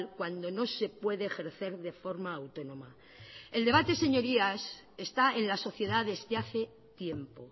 cuando no se puede ejercer de forma autónoma el debate señorías está en la sociedad desde hace tiempo